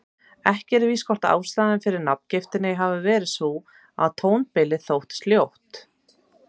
Ekki er víst hvort ástæðan fyrir nafngiftinni hafi verið sú að tónbilið þótti ljótt.